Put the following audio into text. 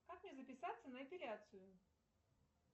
как мне записаться на эпиляцию